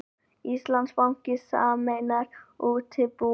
Íslandsbanki sameinar útibú